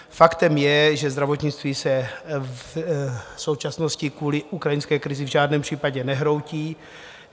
Faktem je, že zdravotnictví se v současnosti kvůli ukrajinské krizi v žádném případě nehroutí.